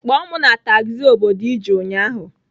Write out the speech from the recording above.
Kpọọ m na tagzi obodo ị ji ụnyaahụ!